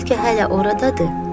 Bəlkə hələ oradadır?